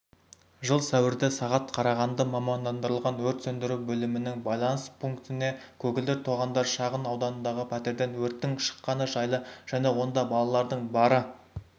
жыл сәуірде сағат қарағанды мамандандырылған өрт сөндіру бөлімінің байланыс пунктіне көгілдір тоғандар шағын ауданындағы пәтерден өрттің шыққаны жайлы және онда балалардың бары